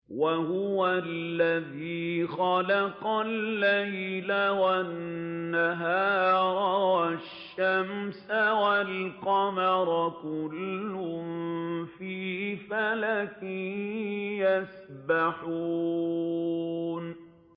وَهُوَ الَّذِي خَلَقَ اللَّيْلَ وَالنَّهَارَ وَالشَّمْسَ وَالْقَمَرَ ۖ كُلٌّ فِي فَلَكٍ يَسْبَحُونَ